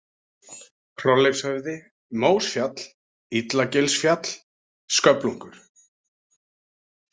Hrolleifshöfði, Mósfjall, Illagilsfjall, sköflungur